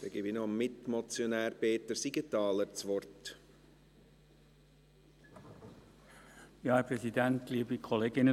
Ich gebe noch dem Mitmotionär Peter Siegenthaler das Wort.